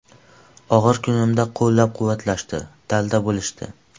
Og‘ir kunimda qo‘llab-quvvatlashdi, dalda bo‘lishdi.